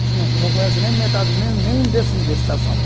Você não, você não conhece nem metade, nem um, nem um décimo do estado de São Paulo.